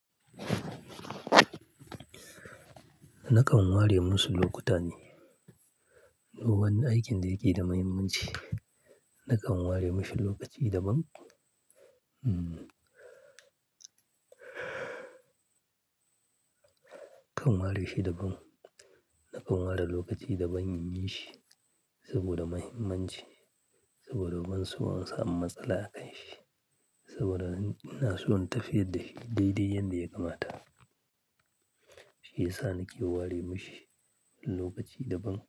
Nakan ware masu lokuta ne. Duban aikin da yake da mahimmanci, nakan ware mashi lokaci daban. Hmm. Kan ware shi daban. Nakan ware lokaci daban in yi shi saboda mahimmanci, saboda ban so in samu matsala a kan shi, saboda ina so in tafiyar da shi daidai yadda ya kamata. Shi yasa nake ware mashi lokaci daban.